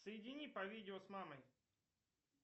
соедини по видео с мамой